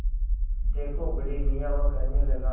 देखो बड़े मियाँ वह कहने लगा